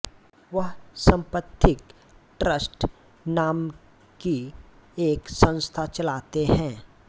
वह समपथिक ट्रस्ट नामकी एक संस्था चलाते है